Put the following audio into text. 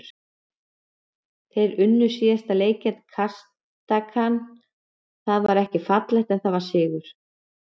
Þeir unnu síðasta leik gegn Kasakstan, það var ekki fallegt en það var sigur.